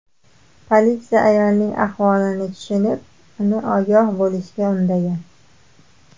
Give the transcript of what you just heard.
Politsiya ayolning ahvolini tushunib, uni ogoh bo‘lishga undagan.